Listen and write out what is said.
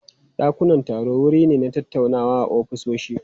Dakunan taro wuri ne na tattaunawa a ofisoshi.